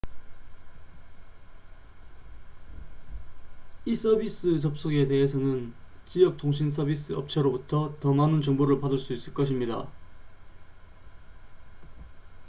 이 서비스 접속에 대해서는 지역 통신서비스 업체로부터 더 많은 정보를 받을 수 있을 것입니다